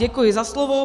Děkuji za slovo.